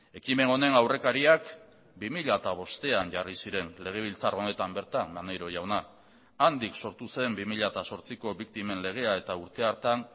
ekimen honen aurrekariak bi mila bostean jarri ziren legebiltzar honetan bertan maneiro jauna handik sortu zen bi mila zortziko biktimen legea eta urte hartan